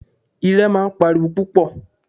Irẹ̀ máa ń pa ariwo púpọ̀.